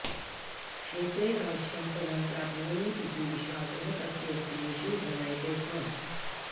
क्षेत्रे अवश्यं फलं प्राप्नोमि इति विश्वासः तस्य वचनेषु ध्वन्यते स्म